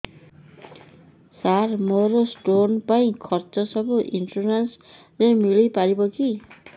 ସାର ମୋର ସ୍ଟୋନ ପାଇଁ ଖର୍ଚ୍ଚ ସବୁ ଇନ୍ସୁରେନ୍ସ ରେ ମିଳି ପାରିବ କି